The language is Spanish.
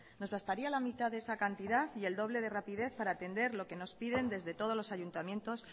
nos bastaría la mitad de esa cantidad y el doble de rapidez para atender lo que nos piden desde todos los ayuntamientos